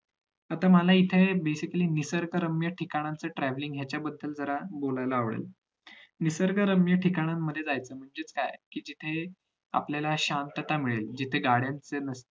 तिथं तर मला इथे एक basically निसर्गरम्य ठिकाणचे travelling ह्याच्याबद्धल बोलायला आवडेल निसर्गरम्य ठिकानि जायचं म्हणजे काय कि आपल्याला शांतात मिळेल जिथं गाड्या नसतील